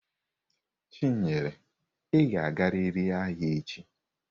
Chinyere, ị ga-agarịrị ahịa echi!